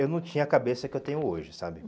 Eu não tinha a cabeça que eu tenho hoje, sabe?